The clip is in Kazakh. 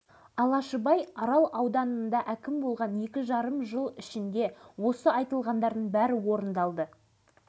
өңірін суландырып ауыл шаруашылығын дамыту жеке кәсіпкерлерді көбейту ең бастысы осы жұмыстарға шетел инвестициясын тартуды